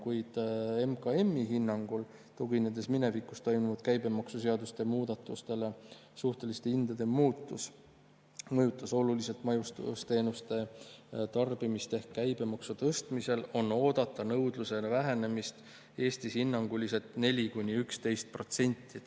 Kuid MKM-i hinnangul, tuginedes minevikus toimunud käibemaksumuudatustele, suhteliste hindade muutus mõjutas oluliselt majutusteenuste tarbimist ehk käibemaksu tõstmisel on oodata nõudluse vähenemist Eestis hinnanguliselt 4–11%.